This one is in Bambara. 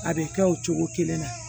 A bɛ kɛ o cogo kelen na